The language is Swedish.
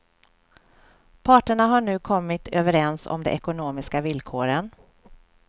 Parterna har nu kommit överens om de ekonomiska villkoren.